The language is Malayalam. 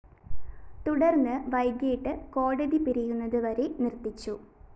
തുടര്‍ന്ന് വൈകീട്ട് കോടതി പിരിയുന്നത് വരെ നിര്‍ത്തിച്ചു